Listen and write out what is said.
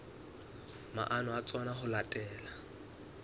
maano a tsona ho latela